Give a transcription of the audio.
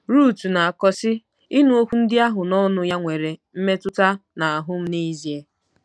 Ruth na-akọ, sị: “Ịnụ okwu ndị ahụ n’ọnụ ya nwere mmetụta n’ahụ́ m n’ezie.”